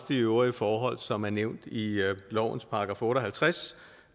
de øvrige forhold som er nævnt i lovens § otte og halvtreds